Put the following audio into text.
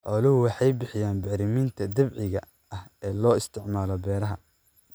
Xooluhu waxay bixiyaan bacriminta dabiiciga ah ee loo isticmaalo beeraha.